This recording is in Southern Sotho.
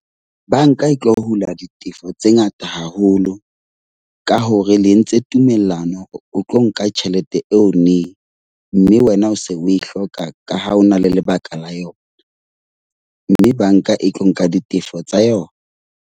Banka e tlo hula ditefo tse ngata haholo ka hore le entse tumellano o tlo nka tjhelete eo neng. Mme wena o se o e hloka ka ha o na le lebaka la yona. Mme banka e tlo nka ditefo tsa yona.